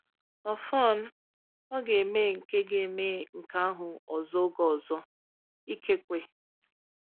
Ọfọn, ọ ga-eme nke ga-eme nke ahụ ọzọ oge ọzọ… ikekwe!